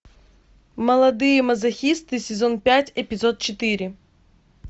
молодые мазохисты сезон пять эпизод четыре